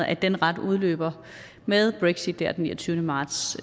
at den rettighed udløber med brexit den niogtyvende marts